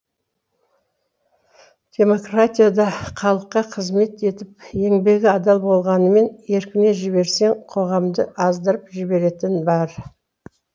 демократия да халыққа қызмет етіп еңбегі адал болғанымен еркіне жіберсең қоғамды аздырып жіберетіні бар